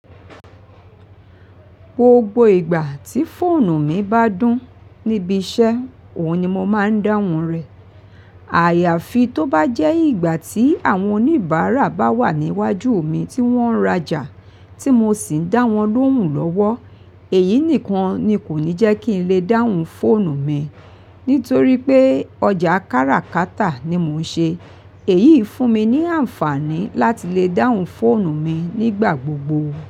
Gbogbo ìgbà tí fóònù mi bá dún níbi iṣẹ́, òun ni mo máa ń dáhùn rẹ̀. Àyàfi tó bá jẹ́ ìgbà tí àwọn oníbàárà bá wà níwájú mi tí wọ́n ń rajà, tí mo sì ń dá wọn lóhùn lọ́wọ́. Èyí nìkan ni kò ní jẹ́ kí n lè dáhùn fóònù mi, nítorí pé ọjà káràkátà ni mò ń ṣe. Èyí fún mi ní àǹfààní láti lè dáhùn fóònù mi nígbà gbogbo.